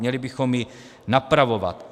Měli bychom ji napravovat.